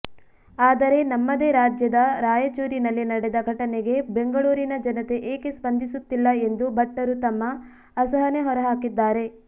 ಆದರೆ ನಮ್ಮದೇ ರಾಜ್ಯದ ರಾಯಚೂರಿನಲ್ಲಿ ನಡೆದ ಘಟನೆಗೆ ಬೆಂಗಳೂರಿನ ಜನತೆ ಏಕೆ ಸ್ಪಂದಿಸುತ್ತಿಲ್ಲ ಎಂದು ಭಟ್ಟರು ತಮ್ಮ ಅಸಹನೆ ಹೊರಹಾಕಿದ್ದಾರೆ